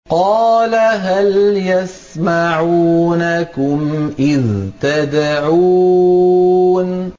قَالَ هَلْ يَسْمَعُونَكُمْ إِذْ تَدْعُونَ